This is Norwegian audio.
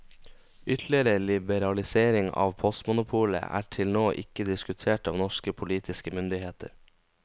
Ytterligere liberalisering av postmonopolet er til nå ikke diskutert av norske politiske myndigheter.